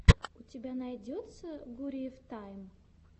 у тебя найдется гуриев тайм